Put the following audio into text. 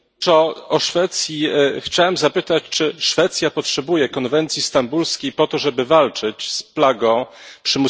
Chciałem zapytać, czy Szwecja potrzebuje konwencji stambulskiej po to, żeby walczyć z plagą przymusowych małżeństw dziewcząt.